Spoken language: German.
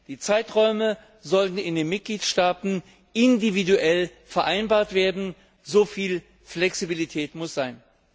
Die Zeiträume sollen in den Mitgliedstaaten individuell vereinbart werden, so viel Flexibilität muss sein.